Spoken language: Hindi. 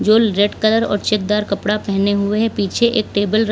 जो ल् रेड कलर और चेकदार कपड़ा पहने हुए पीछे एक टेबल र --